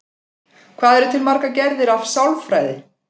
Hvað eru til margar gerðir af sálfræði?